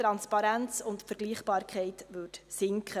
Die Transparenz und die Vergleichbarkeit würden sinken.